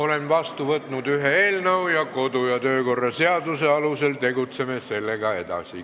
Olen vastu võtnud ühe eelnõu, kodu- ja töökorra seaduse alusel tegutseme sellega edasi.